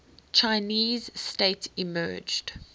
chinese state emerged